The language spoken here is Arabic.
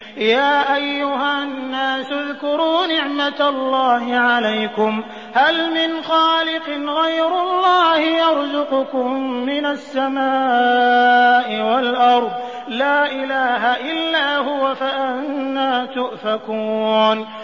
يَا أَيُّهَا النَّاسُ اذْكُرُوا نِعْمَتَ اللَّهِ عَلَيْكُمْ ۚ هَلْ مِنْ خَالِقٍ غَيْرُ اللَّهِ يَرْزُقُكُم مِّنَ السَّمَاءِ وَالْأَرْضِ ۚ لَا إِلَٰهَ إِلَّا هُوَ ۖ فَأَنَّىٰ تُؤْفَكُونَ